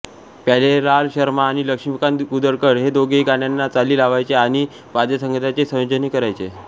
प्यारेलाल शर्मा आणि लक्ष्मीकांत कुदळकर हे दोघेही गाण्यांना चाली लावयचे आणि वाद्यसंगीताचे संयोजनही करायचे